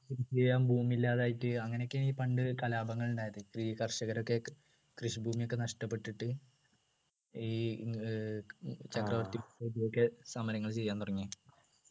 കൃഷി ചെയ്യാൻ ഭൂമി ഇല്ലാതായിട്ട് അങ്ങനെയൊക്കെയാണ് ഈ പണ്ട് കലാപങ്ങൾ ഉണ്ടായത് ഈ കർഷകർക്ക് കൃഷി ഭൂമി ഒക്കെ നഷ്ടപ്പെട്ടിട്ട് ഈ ഏർ ചക്രവർത്തികൾക്കൊക്കെ സമരങ്ങൾ ചെയ്യാൻ തുടങ്ങിയത്